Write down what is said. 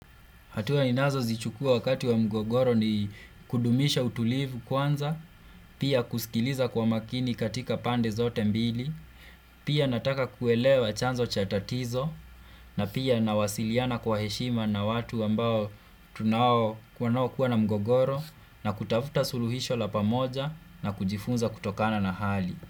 Hatua ninazo zichukua wakati wa mgogoro ni kudumisha utulivu kwanza, pia kusikiliza kwa makini katika pande zote mbili, pia nataka kuelewa chanzo chatatizo, na pia ninawasiliana kwa heshima na watu ambao tunao wanaokuwa na mgogoro, na kutafuta suluhisho la pamoja na kujifunza kutokana na hali.